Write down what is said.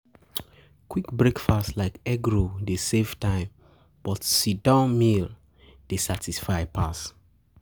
Quick breakfast like egg roll dey save time, but sit-down meal dey satisfy pass.